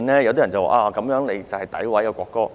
有人說這是詆毀國歌。